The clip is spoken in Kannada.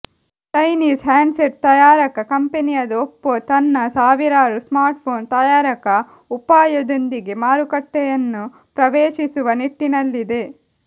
ಚೈನೀಸ್ ಹ್ಯಾಂಡ್ಸೆಟ್ ತಯಾರಕ ಕಂಪೆನಿಯಾದ ಒಪ್ಪೊ ತನ್ನ ಸಾವಿರಾರು ಸ್ಮಾರ್ಟ್ಫೋನ್ ತಯಾರಕ ಉಪಾಯದೊಂದಿಗೆ ಮಾರುಕಟ್ಟೆಯನ್ನು ಪ್ರವೇಶಿಸುವ ನಿಟ್ಟಿನಲ್ಲಿದೆ